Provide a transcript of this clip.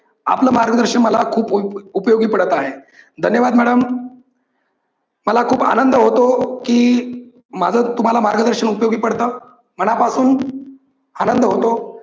आपल मार्गदर्शन मला खूप उपयोगी पडत आहे. धन्यवाद madam मला खूप आनंद होतो की माझ तुम्हाला मार्गदर्शन उपयोगी पडत मनापासून आनंद होतो.